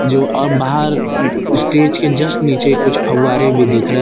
जो और बाहर स्टेज के जस्ट नीचे कुछ फुव्वारे भी दिख रहे--